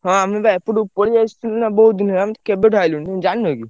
ହଁ ଆମେ ବା ଏପଟକୁ ପଳେଇ ଆସଥିଲୁ ନା ବହୁତ୍ ଦିନ ହେଲା ଆମେ କେବେଠୁ ଆଇଲୁଣି ତମେ ଜାଣିନ କି?